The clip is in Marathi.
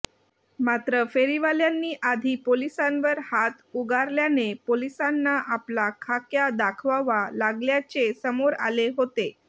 मात्र फेरीवाल्यांनी आधी पोलिसांवर हात उगारल्याने पोलिसांना आपला खाक्या दाखवावा लागल्याचे समोर आले होते